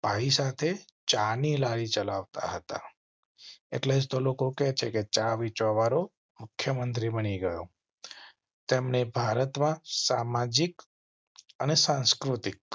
ભાઈ સાથે ચા ની લારી ચલાવતા હતા. એટલેજ તોહ લોકો કહે છે કે ચા વેચવા વારો મુખ્ય મંત્રી બની ગયો. તેમને ભારત માં સામાજિક અને સાંસ્કૃતિક